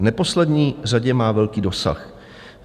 V neposlední řadě má velký dosah.